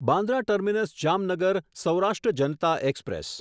Bandra terminus Jamnagar Saurashtra Janata express